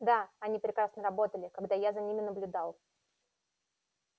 да они прекрасно работали когда я за ними наблюдал